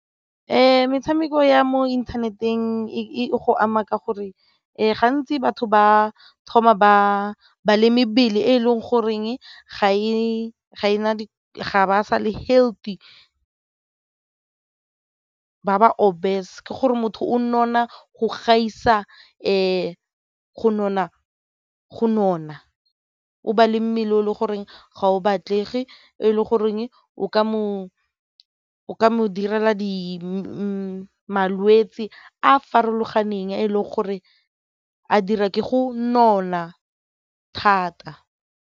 Metshameko ya mo inthaneteng e go ama ka gore gantsi batho ba thoma ba balemi bele e leng goreng ga ba sa le healthy ba ba obese ka gore motho o nona go gaisa go nona o ba le mmele o le gore ga o batlega fa e le goreng o ka mo direla malwetse a a farologaneng a e leng gore a dira go nona thata.